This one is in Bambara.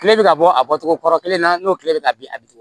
Kile bɛ ka bɔ a bɔcogo kɔrɔ kelen na n'o tile bɛ ka bin a bɛ togo min